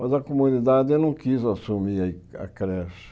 Mas a comunidade não quis assumir a a creche.